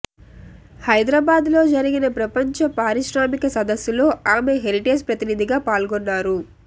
హైదరాబాద్ లో జరిగిన ప్రపంచ పారిశ్రామిక సదస్సులో ఆమె హెరిటేజ్ ప్రతినిధిగా పాల్గొన్నారు